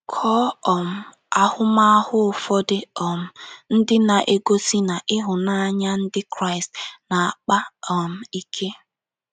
Kọọ um ahụmahụ ụfọdụ um ndị na - egosị na ịhụnanya Ndị Kraịst na - akpa um ike.